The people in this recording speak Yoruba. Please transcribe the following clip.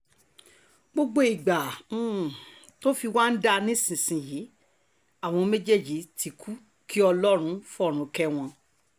gbogbo ìgbà um tó fi wá ń dáa nísìnyìí um àwọn méjèèjì ti kú kí ọlọ́run fọ̀run kẹ́ wọn